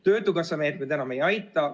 Töötukassa meetmed enam ei aita.